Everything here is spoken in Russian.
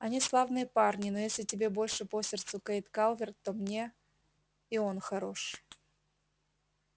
они славные парни но если тебе больше по сердцу кэйд калверт то мне и он хорош